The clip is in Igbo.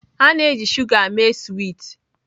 A na-eji shuga mee swiiti